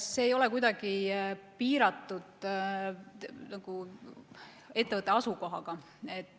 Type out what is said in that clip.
See ei ole kuidagi piiratud ettevõtte asukohaga.